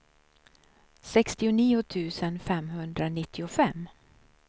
sextionio tusen femhundranittiofem